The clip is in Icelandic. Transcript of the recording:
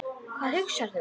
Hvað hugsar þú?